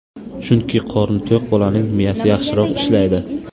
Chunki qorni to‘q bolaning miyasi yaxshiroq ishlaydi.